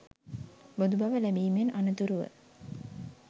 බුදු බව ලැබීමෙන් අනතුරුව